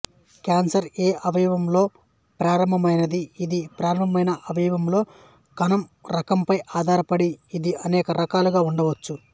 cancer ఏ అవయవంలో ప్రారంభమైంది ఇది ప్రారంభమైన అవయవంలో కణం రకంపై ఆధారపడి ఇది అనేక రకాలుగా ఉండొచ్చు